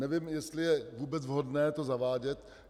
Nevím, jestli je vůbec vhodné to zavádět.